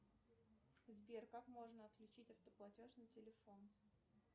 сбер как можно отключить автоплатеж на телефон